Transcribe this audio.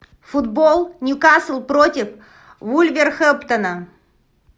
футбол ньюкасл против вулверхэмптона